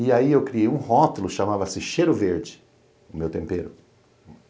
E aí eu criei um rótulo, chamava-se Cheiro Verde, o meu tempero.